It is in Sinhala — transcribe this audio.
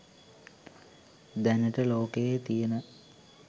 දැනට ලෝකයේ තියන